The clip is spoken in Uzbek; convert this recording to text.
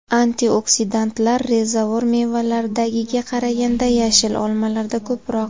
Antioksidantlar rezavor mevalardagiga qaraganda yashil olmalarda ko‘proq.